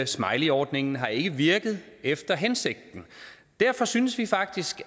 smileyordningen har ikke virket efter hensigten derfor synes vi faktisk